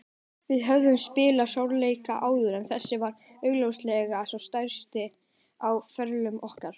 Við höfðum spilað stórleiki áður en þessi var augljóslega sá stærsti á ferlum okkar.